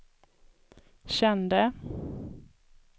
kände